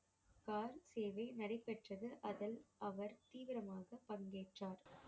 கால் சேவை நடைப்பெற்றது அதில் அவர் தீவிரமாக பங்கேற்றார்